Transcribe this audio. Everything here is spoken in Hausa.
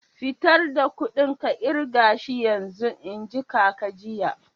Fitar da kuɗin ka kirga shi yanzun! n'ji kaka jiya.